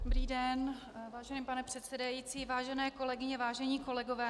Dobrý den, vážený pane předsedající, vážené kolegyně, vážení kolegové.